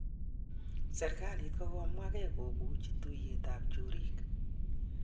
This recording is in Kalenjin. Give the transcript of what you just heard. Serkalit kokomwange kopuchi tuyet ap chorik.